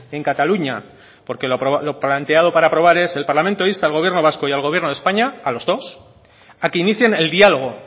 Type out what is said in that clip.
en cataluña porque lo planteado para aprobar es el parlamento insta al gobierno vasco y al gobierno de españa a los dos a que inicien el diálogo